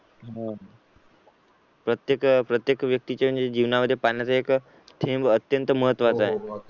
प्रत्येक प्रत्येक व्यक्तीचे म्हणजे जीवनामध्ये पाण्याचा एक थेंब अत्यंत महत्त्वाचा आहे.